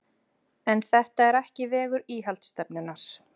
En þetta er ekki vegur íhaldsstefnunnar.